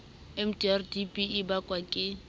mdr tb e bakwa ke